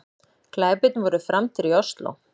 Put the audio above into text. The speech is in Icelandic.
Glæpirnir voru framdir í Ósló